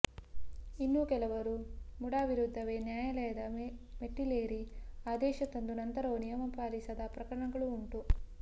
ಇನ್ನು ಕೆಲವರು ಮುಡಾ ವಿರುದ್ಧವೇ ನ್ಯಾಯಾಲಯದ ಮೆಟ್ಟಿಲೇರಿ ಆದೇಶ ತಂದು ನಂತರವೂ ನಿಯಮ ಪಾಲಿಸದ ಪ್ರಕರಣಗಳೂ ಉಂಟು